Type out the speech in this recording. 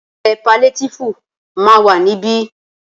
Ilé paliétífù ma wà ní ibí.